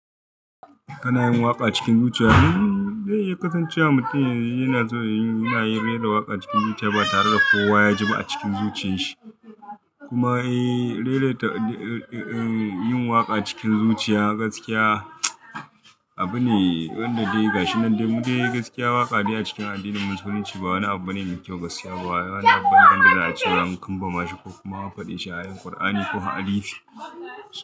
Kana yin waƙa cikin zuciya, hmmm zai iya kasancewa mutum yana so ya yi, yana yin raira waƙa cikin zuciya ba tare da kowa ya ji ba a cikin zuciyan shi. Kuma eh, raira ta, eh yin waƙa cikin zuciya gaskiya, abune wanda dai ga shi nan dai mudai gaskiya waƙa dai a cikin addinin musulunci ba wani abu bane mai kyau gaskiya. Ba wani abu bane wanda za a cewa an kamba ma shi ko kuma an faɗi shi a Kur'ani ko a hadisi.